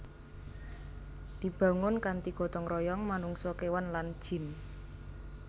Dibangun kanthi gotong royong manungsa kéwan lan jin